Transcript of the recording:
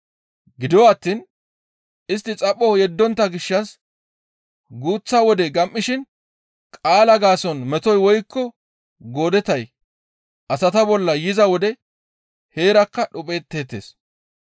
Gido attiin istti xapho yeddontta gishshas guuththa wode gam7ishin qaalaa gaason metoy woykko goodetay asata bolla yiza wode heerakka dhuphetteettes.